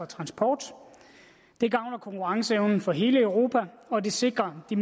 transport det gavner konkurrenceevnen for hele europa og det sikrer de